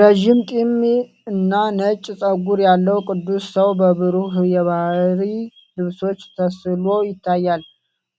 ረዥም ጢምና ነጭ ፀጉር ያለው ቅዱስ ሰው በብሩህ የባሕርይ ልብሶች ተስሎ ይታያል።